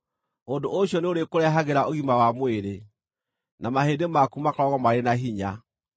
Ũndũ ũcio nĩũrĩkũrehagĩra ũgima wa mwĩrĩ, na mahĩndĩ maku makoragwo marĩ na hinya.